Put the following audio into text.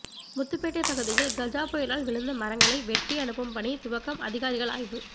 முத்துப்பேட்டை பகுதியில் கஜா புயலால் விழுந்த மரங்களை வெட்டி அனுப்பும் பணி துவக்கம் அதிகாரிகள் ஆய்வு